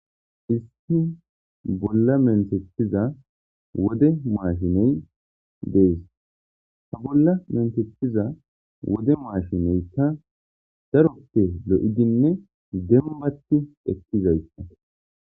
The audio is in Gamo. issi bolla mentetiza wode mashiney dees ha bolla mentethiza wode maashineykka daroppe lo7idinne dembati eqkizayssa